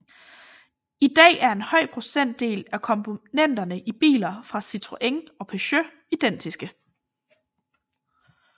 I dag er en høj procentdel af komponenterne i biler fra Citroën og Peugeot identiske